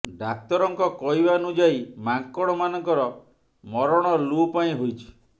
ଡାକ୍ତରଙ୍କ କହିବାନୁଯାୟୀ ମାଙ୍କଡ ମାନଙ୍କର ମରଣ ଲୁ ପାଇଁ ହୋଇଛି